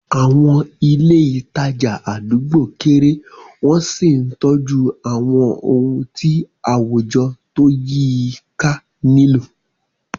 Àwọn ilé ìtajà àdúgbò kéré wọ́n sì ń tọ́jú àwọn ohun tí àwùjọ tó yí i ká nílò.